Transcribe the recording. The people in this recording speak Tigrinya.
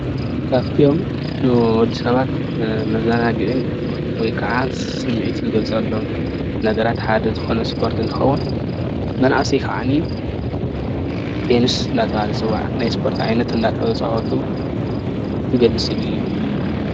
ካብቶም ንወድሰባት መዘናግዕን ወይ ከዓ ስሚዒት ዝገልፆሎም ነገራት ሓደ ዝኮነ ስፓርት እንትከውን መናእሰይ ከዓኒ ቴኒስ እናተባህል ዝፀዋዕ ናይ ሰፓርት ዓይነት እናተፃወቱ ዝገልፅ ስእሊ እዩ፡፡